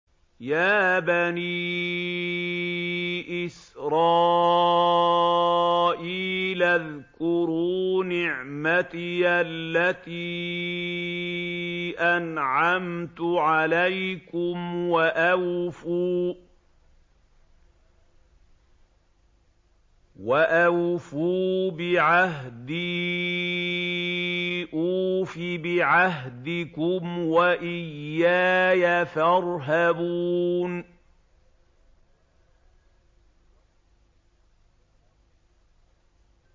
يَا بَنِي إِسْرَائِيلَ اذْكُرُوا نِعْمَتِيَ الَّتِي أَنْعَمْتُ عَلَيْكُمْ وَأَوْفُوا بِعَهْدِي أُوفِ بِعَهْدِكُمْ وَإِيَّايَ فَارْهَبُونِ